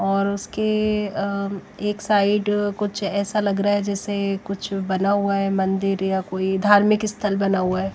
और उसके एक साइड कुछ ऐसा लग रहा है जैसे कुछ बना हुआ है मंदिर या कोई धार्मिक स्थल बना हुआ है।